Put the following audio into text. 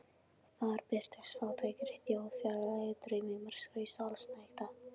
Þar birtust fátækri þjóð fjarlægir draumheimar skrauts og allsnægta.